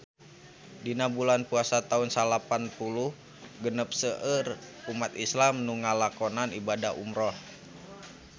Dina bulan Puasa taun salapan puluh genep seueur umat islam nu ngalakonan ibadah umrah